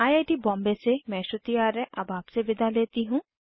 I I T Bombay से मैं श्रुति आर्य अब आपसे विदा लेती हूँ